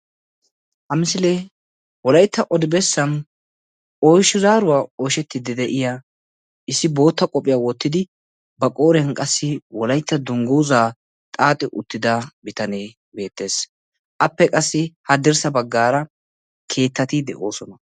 ha misilee wolaytta odi bessan oychi zaaruwan appe asi hadirssa bagaara de'iyaagee qassi issisan de'iyaaga giidi odees.